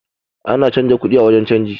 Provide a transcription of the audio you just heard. Ana canza kuɗi a wurin canji